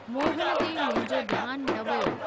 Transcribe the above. मोहन ते मुंहिंजो ध्यानु न वियो।